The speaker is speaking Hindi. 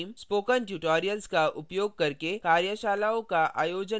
spoken tutorials का उपयोग करके कार्यशालाओं का आयोजन करती है